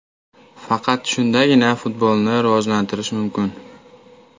Faqat shundagina futbolni rivojlantirish mumkin.